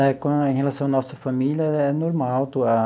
Em relação à nossa família, é normal.